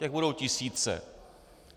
Těch budou tisíce.